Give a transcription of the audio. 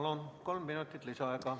Palun, kolm minutit lisaaega.